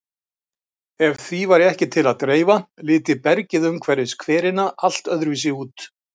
Ef því væri ekki til að dreifa liti bergið umhverfis hverina allt öðruvísi út.